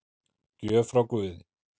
Gjöf frá guði